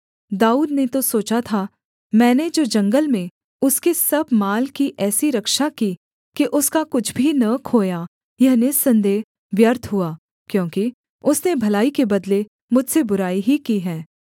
दाऊद ने तो सोचा था मैंने जो जंगल में उसके सब माल की ऐसी रक्षा की कि उसका कुछ भी न खोया यह निःसन्देह व्यर्थ हुआ क्योंकि उसने भलाई के बदले मुझसे बुराई ही की है